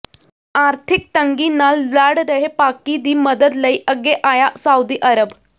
ਆਰਥਿਕ ਤੰਗੀ ਨਾਲ ਲੜ ਰਹੇ ਪਾਕਿ ਦੀ ਮਦਦ ਲਈ ਅੱਗੇ ਆਇਆ ਸਾਊਦੀ ਅਰਬ